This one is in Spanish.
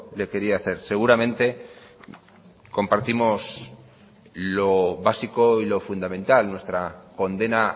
le quería hacer seguramente compartimos lo básico y lo fundamental nuestra condena